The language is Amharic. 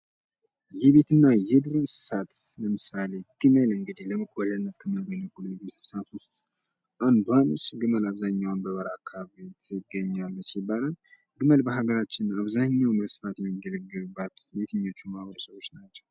የቤትና የዱር እንስሳት ለምሳለ ግመል እንግዲህ ለመጓዣነት ከሚሆኑ እንስሳቶች አንዷ ናት። ግመል እንግዲህ አብዛኛውን በበረሃ አካባቢ ትገኛለች ይባላል። ግመል በሃገራችን በአብዛኛው በስፋት የሚገለገሉባት በየትኛው ማህበረሰቦች ነው።